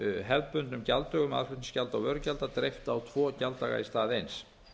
hefðbundnum gjalddögum aðflutningsgjalda og vörugjalda dreift á tvo gjalddaga í stað eins